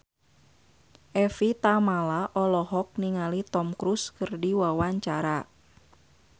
Evie Tamala olohok ningali Tom Cruise keur diwawancara